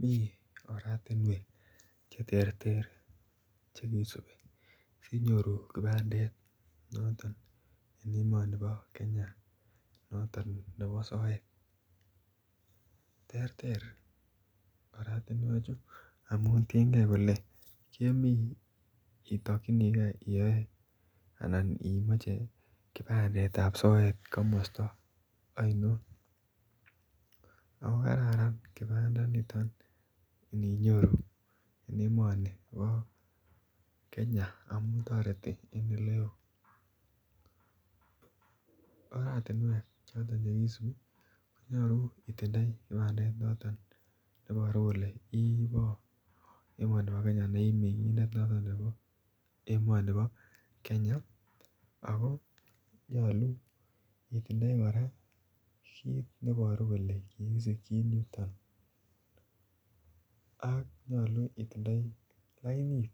Mi oratinwek Che terter chekisubi asikenyor kibandet en emoni bo Kenya noton nebo soet terter oratinewechu amun tienge kole kemi itokyinige iyoe anan imoche kibandet ab soet komosta oinon ako kararan kibandinito aninyoru en emoni bo Kenya amun toretin oratinwek Choton Che kisubi ko nyolu itondoi kibandet neiboru kele ibo emoni bo Kenya ako nyolu kora itindoi kit ne Iboru kele ki kikisikyin emoni ak nyolu itindoi lainit